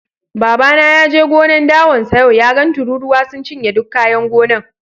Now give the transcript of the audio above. Baba na ya je gonan' dawan sa yau, ya gan tururuwa sun ciye duk kayan gonan'.